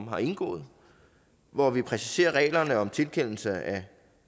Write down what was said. har indgået hvor vi præciserer reglerne om tilkendelse af